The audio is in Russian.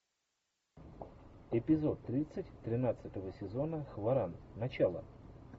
эпизод тридцать тринадцатого сезона хваран начало